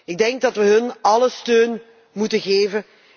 Ik denk dat we hun alle steun moeten geven.